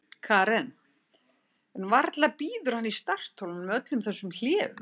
Karen: En varla bíður hann í startholunum með öllum þessum hléum?